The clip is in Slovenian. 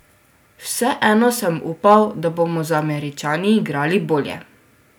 Vseeno sem upal, da bomo z Američani igrali bolje.